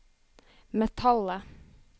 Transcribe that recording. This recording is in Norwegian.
metallet